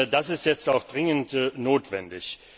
Das ist jetzt auch dringend notwendig.